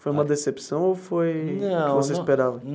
Foi uma decepção ou foi. Não. O que você esperava?